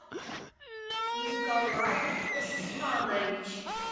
николай усманович